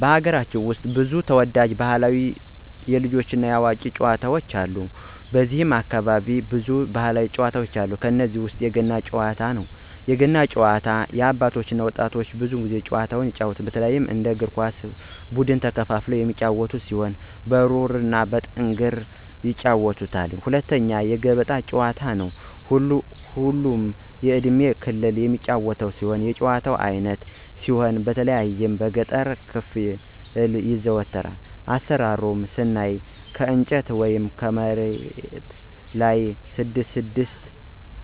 በሀገራችን ውስጥ ብዙ ተወዳጅ ባህላዊ የልጆች እና የአዋቂዎች ጨዋታዎች አሉ። ከነዚህም ውስጥ በብዛት በእኛ አካባቢ የሚዘወተሩ ጭዋታዎች ውስጥ ሶስቱ የሚከተሉትን ናቸው፦ 1=የገና ጨዋታ- የአባቶች እና የወጣት ወንዶች ጨዋታ ሲሆን፣ በተለይ እንደ እግር ኳስ ብድን ከሁለት ተከፋፍለው ህዝብ በተሰበሰበበት ሜዳ የሚጫወቱት የጨዋታ አይነት ሲሆን ከጠፍር ወይም ከሌላ ቁስ በተሰራች ቁር (ትንሽ ኳስ) በዱላ በመምታት(በመለጋት) ወደተቃራኒ ቡድን ለማግባት የሚደረግ ፍልሚያ ነው። 2=የገበጣ ጨዋታ ሁሉም የእድሜ ክልል የሚጫወቱት የጭዋታ አይነት ሲሆን በተለይ በገጠሩ ክፍል ይዘወተራል። አሰራሩን ስናይ ከእንጨት ወይም መሬቱ ላይ 6 ለብቻ